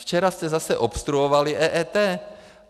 Včera jste zase obstruovali EET.